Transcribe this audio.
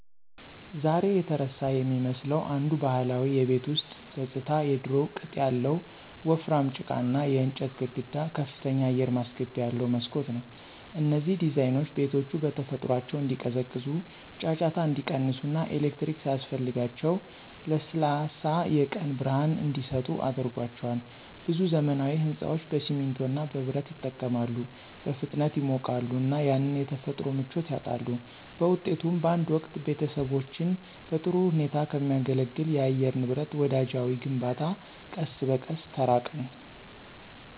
ዛሬ የተረሳ የሚመስለው አንዱ ባህላዊ የቤት ውስጥ ገጽታ የድሮው ቅጥ ያለው ወፍራም ጭቃና የእንጨት ግድግዳ ከፍተኛ አየር ማስገቢያ ያለው መስኮት ነው። እነዚህ ዲዛይኖች ቤቶቹ በተፈጥሯቸው እንዲቀዘቅዙ፣ ጫጫታ እንዲቀንስ እና ኤሌክትሪክ ሳያስፈልጋቸው ለስላሳ የቀን ብርሃን እንዲሰጡ አድርጓቸዋል። ብዙ ዘመናዊ ሕንፃዎች በሲሚንቶ እና በብረት ይጠቀማሉ, በፍጥነት ይሞቃሉ እና ያንን የተፈጥሮ ምቾት ያጣሉ. በውጤቱም፣ በአንድ ወቅት ቤተሰቦችን በጥሩ ሁኔታ ከሚያገለግል ለአየር ንብረት ወዳጃዊ ግንባታ ቀስ በቀስ ተራቅን።